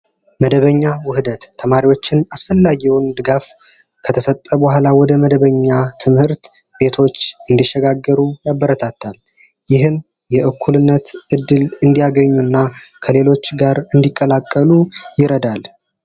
መደበኛ ውህደት ተማሪዎችን አስፈላጊውን ድጋፍ ከተሰጠ በኋላ ወደ መደበኛ ትምህርት ቤቶች እንዲሸጋገሩ ያበረታታል። ይህም እኩልነት እድል እንዲያገኙ እና ከሌሎች ጋር እንዲቀላቀሉ ይረዳናል።